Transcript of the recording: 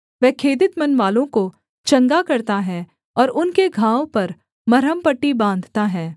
वह खेदित मनवालों को चंगा करता है और उनके घाव पर मरहमपट्टी बाँधता है